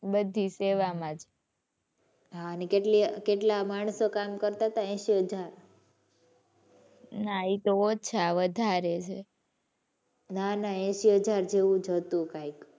બધી સેવામાં જ. હાં અને કેટલી કેટલાક માણસો કામ કરતાં હતા એસી હજાર. નાં એ તો ઓછા વધારે છે. નાં નાં એસી હજાર જેવુ જ હતું કઈક.